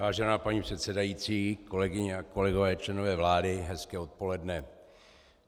Vážená paní předsedající, kolegyně a kolegové, členové vlády, hezké odpoledne.